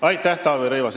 Aitäh, Taavi Rõivas!